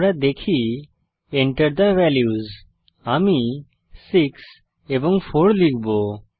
আমরা দেখি enter the values আমি 6 এবং 4 লিখব